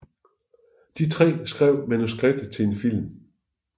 De tre skrev manuskriptet til en film